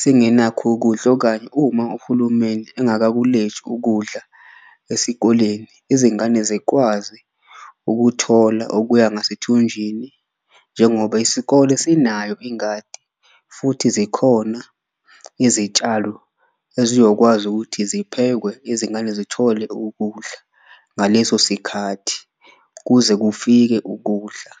singenakho ukudla okanye uma uhulumeni engakakulethi ukudla esikoleni, izingane zikwazi ukuthola okuya ngasethunjwini njengoba ngoba isikole sinayo ingadi. Futhi zikhona izitshalo ezizokwazi ukuthi ziphethwe izingane zithole ukudla ngaleso sikhathi, kuze kufike ukudla.